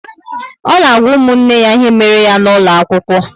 O n'agwa ụmụnne ya ihe méré ya n'ulo akwụkwọ